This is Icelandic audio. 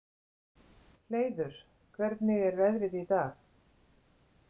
Hleiður, hvernig er veðrið í dag?